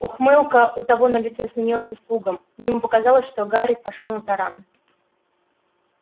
ухмылка у того на лице сменилась испугом ему показалось что гарри пошёл на таран